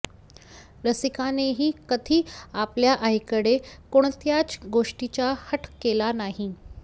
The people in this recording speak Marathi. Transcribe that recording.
रसिकानेही कधी आपल्या आईकडे कोणत्याच गोष्टीचा हट्ट केला नाही